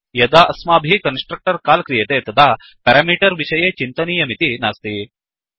यदा अस्माभिः constructor call क्रियते तदा पेरामीटर् विषये चिन्तनीयमिति नास्ति